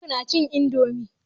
Noor nacin indomie.